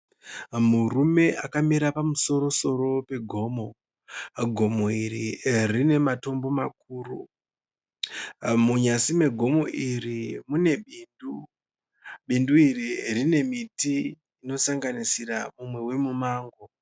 Murume akamira pamusoro-soro pegomo. Gomo iri rinematombo makuru. Munyasi megomo iri mune bindu. Bindu iri rine miti inosanganisira umwe wemumango.